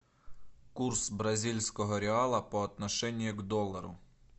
курс бразильского реала по отношению к доллару